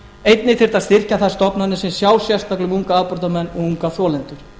einnig þyrfti að styrkja þær stofnanir sem sjá sérstaklega um unga afbrotamenn og unga þolendur